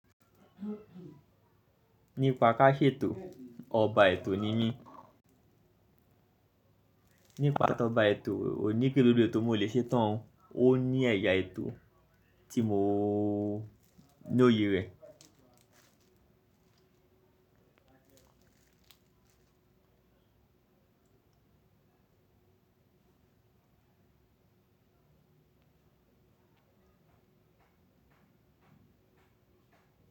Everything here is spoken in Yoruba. Nípa ká ṣe ètò, ọba ètò ni mí. Nípa tọba ètò, kòní pe gbogbo ètó mo lè ṣe tán. Ó ní ẹ̀yà ètò tí mo lóye rẹ̀.